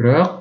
бірақ